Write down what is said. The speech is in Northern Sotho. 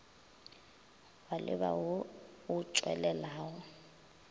wa leba wo o tšwelelago